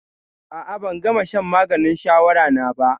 A'a, ban gama shan maganin shawara na ba.